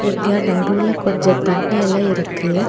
இங்க நடுவுல கொஞ்ச தண்ணி எல்லா இருக்கு.